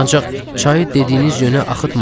Ancaq çayı dediyiniz yönə axıtmadım.